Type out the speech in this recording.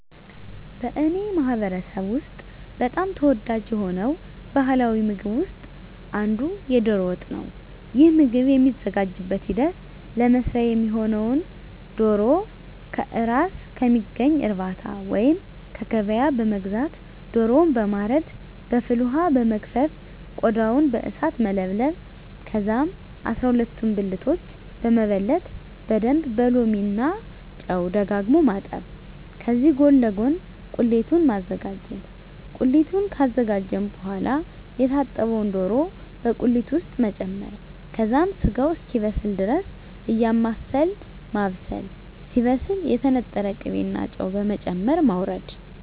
በእኔ ማህበረሰብ ውስጥ በጣም ተወዳጅ የሆነው ባሀላዊ ምግብ ውስጥ አንዱ የዶሮ ወጥ ነው። ይህ ምግብ የሚዘጋጅበት ሂደት ለመስሪያ የሚሆነውነ ዶሮ ከእራስ ከሚገኝ እርባታ ወይንም ከገበያ በመግዛት ዶሮውን በማረድ በፍል ወሀ በመግፈፍ ቆዳውን በእሳት መለብለብ ከዛም አስራሁለቱን ብልቶች በመበለት በደንብ በሎሚ እና ጨው ደጋግሞ ማጠብ ከዚህ ጎን ለጎን ቁሊቱን ማዘጋጀት ቁሊቱን ካዘጋጀን በሆዋላ የታጠበውን ዶሮ በቁሊት ውስጥ መጨመር ከዛም ስጋው እስኪበስል ድረስ እያማሰልን ማብሰል ሲበስል የተነጠረ ቅቤ እና ጨው በመጨመር ማወረድ።